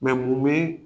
mun bɛ